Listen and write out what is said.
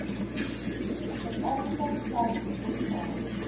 suidafrika stats sa